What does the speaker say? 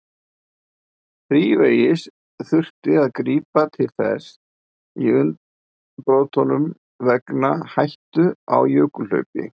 Þrívegis þurfti að grípa til þess í umbrotunum vegna hættu á jökulhlaupum.